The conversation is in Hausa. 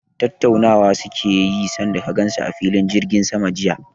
Tattaunawa suke yi san da ka gan su a filin jirgin sama jiya?